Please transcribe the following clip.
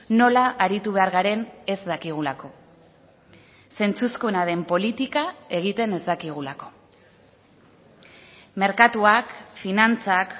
nola aritu behar garen ez dakigulako zentzuzkoena den politika egiten ez dakigulako merkatuak finantzak